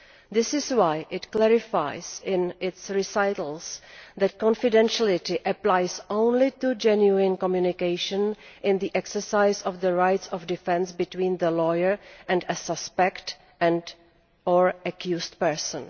This is why it clarifies, in its recitals, that confidentiality applies only to genuine communication in the exercise of the rights of defence between the lawyer and a suspect and or accused person.